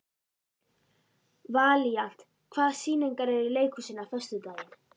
Valíant, hvaða sýningar eru í leikhúsinu á föstudaginn?